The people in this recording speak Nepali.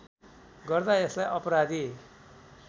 गर्दा यसलाई अपराधी